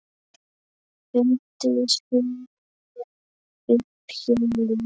Fundu Súmerar upp hjólið?